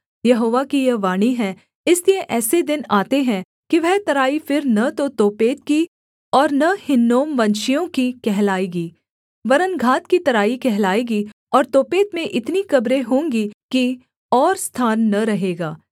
यहोवा की यह वाणी है इसलिए ऐसे दिन आते हैं कि वह तराई फिर न तो तोपेत की और न हिन्नोमवंशियों की कहलाएगी वरन् घात की तराई कहलाएगी और तोपेत में इतनी कब्रें होंगी कि और स्थान न रहेगा